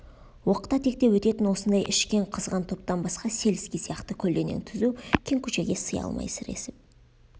оқта-текте өтетін осындай ішкен қызған топтан басқа сельский сияқты көлденең түзу кең көшеге сыя алмай сіресіп